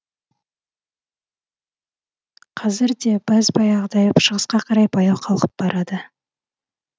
қазір де бәз баяғыдай шығысқа қарай баяу қалқып барады